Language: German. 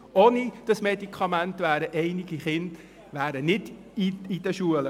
Ohne dieses Medikament wären einige Kinder nicht in der Schule.